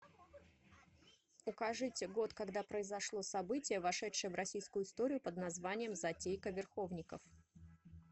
укажите год когда произошло событие вошедшее в российскую историю под названием затейка верховников